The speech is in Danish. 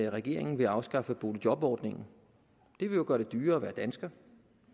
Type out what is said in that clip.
regeringen vil afskaffe boligjobordningen det vil jo gøre det dyrere at være dansker